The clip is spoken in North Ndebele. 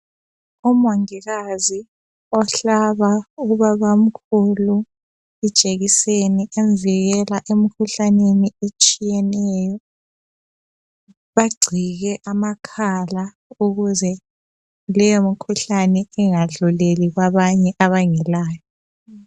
Umongikazi ohlaba ubabamkhulu ijekiseni evikela emkhuhlaneni etshiyeneyo bagcike amakhala ukuze leyo mkhuhlani ingadluleli kwabanye abangelayo.